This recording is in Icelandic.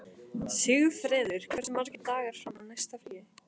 Sigfreður, hversu margir dagar fram að næsta fríi?